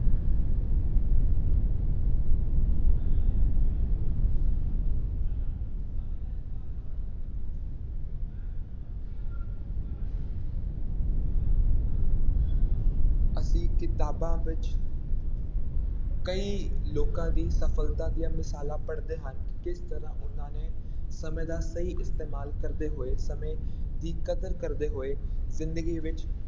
ਅਸੀਂ ਕਿਤਾਬਾਂ ਵਿੱਚ ਕਈ ਲੋਕਾਂ ਦੀਆਂ ਸਫ਼ਲਤਾ ਦੀਆਂ ਮਿਸਾਲਾਂ ਪੜ੍ਹਦੇ ਹਾਂ ਕਿਸ ਤਰ੍ਹਾਂ ਉਹਨਾਂ ਨੇ ਸਮੇਂ ਦਾ ਸਹੀ ਇਸਤੇਮਾਲ ਕਰਦੇ ਹੋਏ, ਸਮੇਂ ਦੀ ਕਦਰ ਕਰਦੇ ਹੋਏ ਜ਼ਿੰਦਗੀ ਵਿੱਚ,